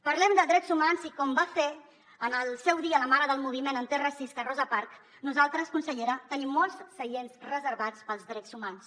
parlem de drets humans i com va fer en el seu dia la mare del moviment antiracista rosa parks nosaltres consellera tenim molts seients reservats per als drets humans